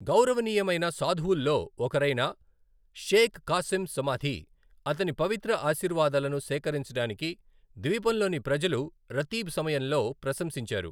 గౌరవనీయమైన సాధువుల్లో ఒకరైన షేక్ కాసిం సమాధి, అతని పవిత్ర ఆశీర్వాదాలను సేకరించడానికి ద్వీపంలోని ప్రజలు రతీబ్ సమయంలో ప్రశంసించారు.